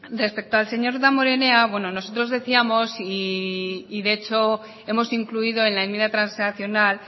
respecto al señor damborenea bueno nosotros decíamos y de hecho hemos incluido en la enmienda transaccional